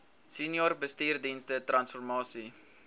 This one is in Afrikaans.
senior bestuursdienste transformasie